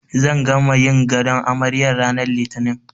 Zan gama yin gadon amaryar ranar Litini.